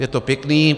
Je to pěkné.